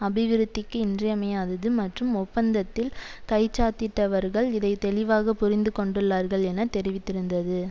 அபிவிருத்திக்கு இன்றியமையாதது மற்றும் ஒப்பந்தத்தில் கைச்சாத்திட்டவர்கள் இதை தெளிவாக புரிந்துகொண்டுள்ளார்கள் என தெரிவித்திருந்தது